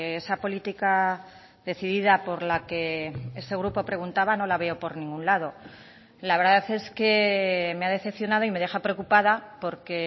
esa política decidida por la que este grupo preguntaba no la veo por ningún lado la verdad es que me ha decepcionado y me deja preocupada porque